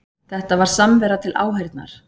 Þetta var samvera til áheyrnar